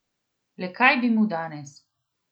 Le kaj bi mu danes?